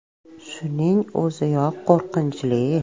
Shuning o‘ziyoq qo‘rqinchli.